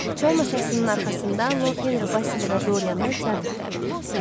Çay masasının arxasında Lord Henri Basili və Doryanı teatra dəvət etdi.